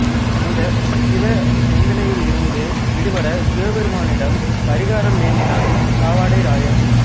இந்த சிவ நிந்தனையிளிருந்து விடுபட சிவபெருமானிடம் பரிகாரம் வேண்டினான் பாவாடைராயன்